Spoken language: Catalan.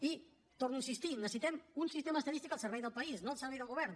i torno a insistir hi necessitem un sistema d’estadística al servei del país no al servei del govern